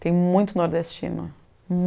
Tem muito nordestino.